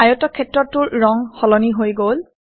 আয়তক্ষেত্ৰটোৰ ৰং সলনি হৈ গল